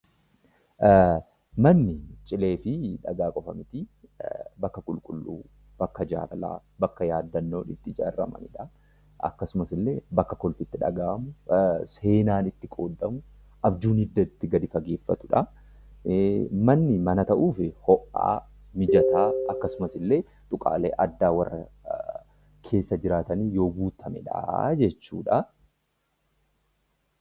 Manni cilee fi dhagaa qofa mitii bakka qulqulluu, bakka jaalalaa, bakka yaadannoon itti ijaaramaniidha. Akkasumas illee bakka kolfi itti dhagahamuu, seenaan itti qoodamuu, abjuun hidda itti gadi fageeffatudha. Manni mana tahuuf ho'aa, mijataa akkasumas illee tuqaalee addaa warra keessa jiraattanii yoo guutameedha jechuudha.